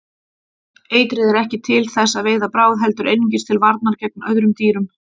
Eitrið er ekki til þess að veiða bráð heldur einungis til varnar gegn öðrum dýrum.